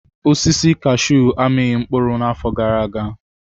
Osisi kashuu amịghị mkpụrụ n'afọ gara aga.